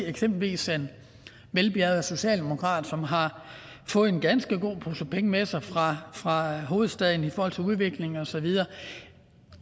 eksempelvis set en velbjærget socialdemokrat som har fået en ganske god pose penge med sig fra fra hovedstaden i forhold til udvikling og så videre